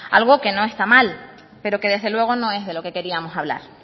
algo que no está mal pero que desde luego no es de lo que queríamos hablar